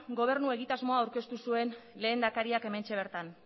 gobernua egitasmoa aurkeztu zuen lehendakariak hementxe bertan